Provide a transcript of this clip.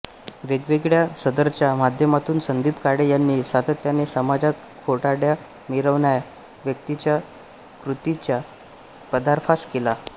वेगवेगळ्या सदरच्या माध्यमातून संदीप काळे यांनी सातत्याने समाजात खोटारड्या मिरवणाया व्यक्तींचा कृतींचा पर्दाफाश केला आहे